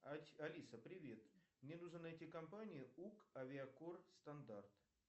алиса привет мне нужно найти компанию ук авиакор стандарт